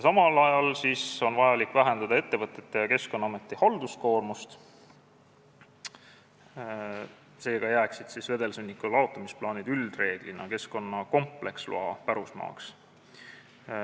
Samal ajal on vaja vähendada ettevõtete ja Keskkonnaameti halduskoormust, seega jääksid vedelsõnniku laotusplaanid üldreeglina keskkonnakompleksloa pärusmaaks.